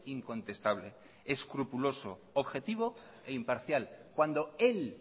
incontestable escrupuloso objetivo e imparcial cuando él